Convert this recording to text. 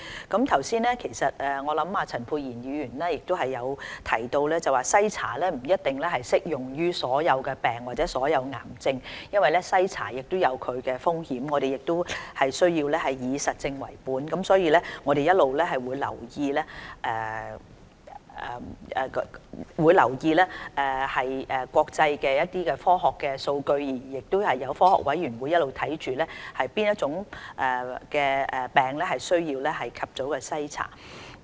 剛才陳沛然議員亦提到，篩查不一定適用於所有疾病或癌症，因為篩查亦有其風險，我們需要以實證為本，並會一直留意國際間的科學數據，科學委員會也一直監察哪些疾病需要盡早進行篩查。